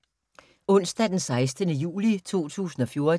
Onsdag d. 16. juli 2014